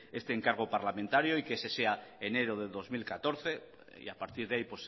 este encargo parlamentario y que ese sea enero de dos mil catorce y a partir de ahí